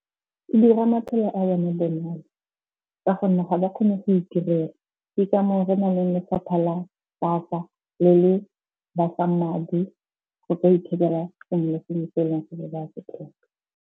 E dira maphelo a bone bonolo ka gonne ga ba kgone go itirela. Ke ka moo re na le lefapha la SASSA le le ba fang madi go ka ithekela sengwe le sengwe se eleng gore ba se tlhoka.